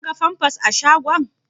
Ka ga famfas a shagon?